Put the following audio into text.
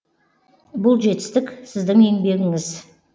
бұл жетістік сіздің еңбегіңіз